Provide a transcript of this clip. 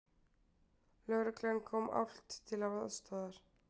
Lögreglan kom álft til aðstoðar